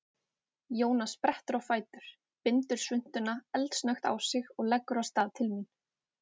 Jóna sprettur á fætur, bindur svuntuna eldsnöggt á sig og leggur af stað til mín.